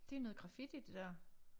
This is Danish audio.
Det noget graffiti det dér